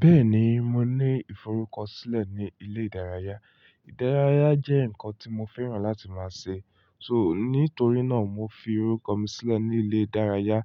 Bẹ́ẹ̀ni, mo ní ìforúkọsílẹ̀ ní ilé ìdárayá. Ìdárayá jẹ́ nǹkan tí mo fẹ́ràn láti máa ṣe. So, nítorí náà mo fi orúkọ mi sílẹ̀ ní ilé ìdárayá,